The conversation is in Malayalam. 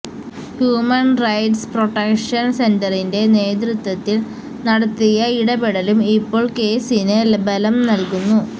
ഹ്യൂമൺ റൈറ്റ്സ് പ്രൊട്ടക്ഷൻ സെന്ററിന്റെ നേതൃത്വത്തിൽ നടത്തിയ ഇടപെടലും ഇപ്പോൾ കേസിന് ബലം നൽകുന്നു